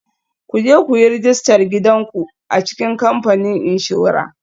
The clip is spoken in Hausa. Ku je ku yi rajistar gidan ku a cikin kamfanin inshora